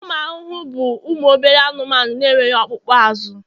ụmụ ahụhụ bụ ụmụ obere anụmanụ na-enweghị ọkpụkpụ azụ